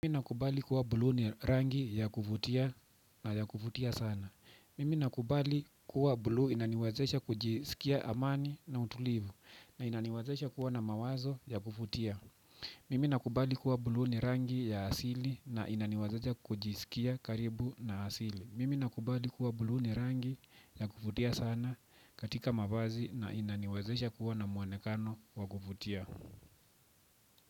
Mimi nakubali kuwa buluu ni rangi ya kuvutia na ya kuvutia sana. Mimi nakubali kuwa buluu inaniwezesha kujiskia amani na utulivu na inaniwezesha kuwa na mawazo ya kuvutia. Mimi nakubali kuwa bulu ni rangi ya asili na inaniwazesha kujisikia karibu na asili. Mimi nakubali kuwa buluu ni rangi ya kufutia sana katika mavazi na inaniwezesha kuwa na mwonekano wa kuvutia.